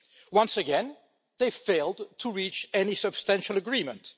Once again, they failed to reach any substantial agreement.